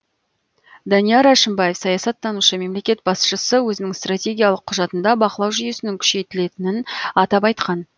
данияр әшімбаев саясаттанушы мемлекет басшысы өзінің стратегиялық құжатында бақылау жүйесінің күшейтілетінін атап айтқан